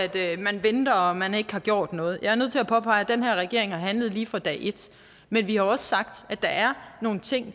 man venter og at man ikke har gjort noget jeg er nødt til at påpege at den her regering har handlet lige fra dag et men vi har også sagt at der er nogle ting